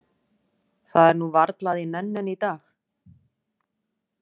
Það er nú varla að ég nenni henni í dag.